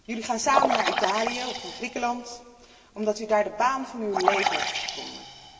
Jullie gaan samen naar Italië of naar Griekenland omdat u daar de baan van uw leven hebt gevonden.